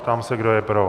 Ptám se, kdo je pro.